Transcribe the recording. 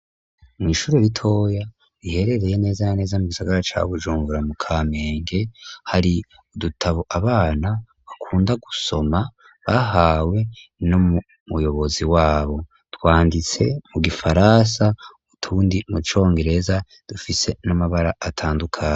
Mw'ishuro ritoya biherereye neza naneza mu gisagara cawo ujungura mu ka menge hari udutabo abana bakunda gusoma bahawe no mu muyobozi wabo twanditse mu gifarasa utundi mucongereza dufise n'amabara atandukane.